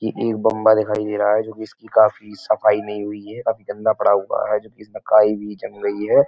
ये एक बम्बा दिखाय दे रहा है जो कि इसकी काफी सफाई नहीं हुई है। ये काफी गंदा पड़ा हुआ है जो कि इसका काई भी जम गई है।